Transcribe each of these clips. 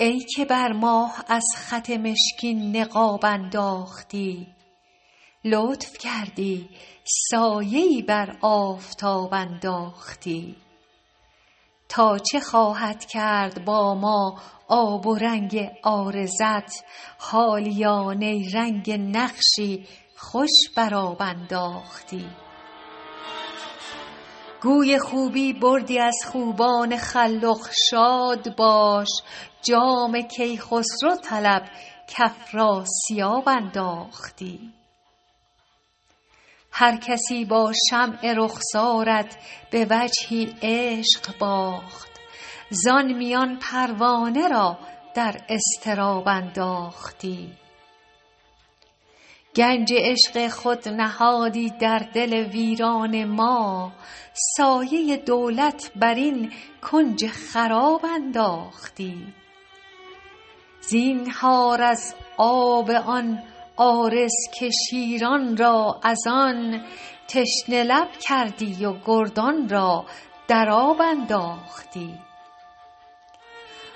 ای که بر ماه از خط مشکین نقاب انداختی لطف کردی سایه ای بر آفتاب انداختی تا چه خواهد کرد با ما آب و رنگ عارضت حالیا نیرنگ نقشی خوش بر آب انداختی گوی خوبی بردی از خوبان خلخ شاد باش جام کیخسرو طلب کافراسیاب انداختی هرکسی با شمع رخسارت به وجهی عشق باخت زان میان پروانه را در اضطراب انداختی گنج عشق خود نهادی در دل ویران ما سایه دولت بر این کنج خراب انداختی زینهار از آب آن عارض که شیران را از آن تشنه لب کردی و گردان را در آب انداختی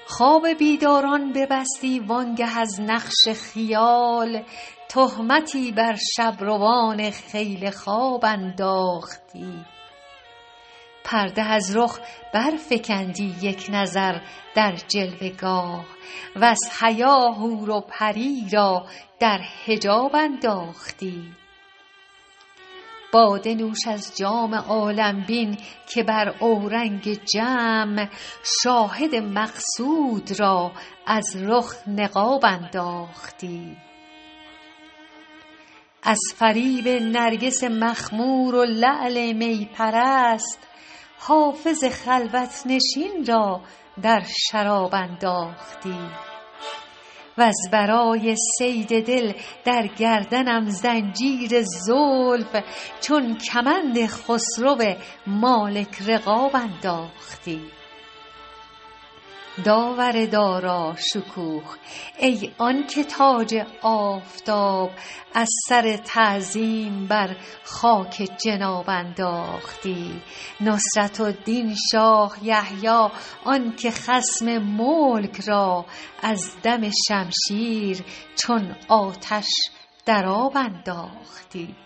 خواب بیداران ببستی وآن گه از نقش خیال تهمتی بر شب روان خیل خواب انداختی پرده از رخ برفکندی یک نظر در جلوه گاه وز حیا حور و پری را در حجاب انداختی باده نوش از جام عالم بین که بر اورنگ جم شاهد مقصود را از رخ نقاب انداختی از فریب نرگس مخمور و لعل می پرست حافظ خلوت نشین را در شراب انداختی وز برای صید دل در گردنم زنجیر زلف چون کمند خسرو مالک رقاب انداختی داور داراشکوه ای آن که تاج آفتاب از سر تعظیم بر خاک جناب انداختی نصرة الدین شاه یحیی آن که خصم ملک را از دم شمشیر چون آتش در آب انداختی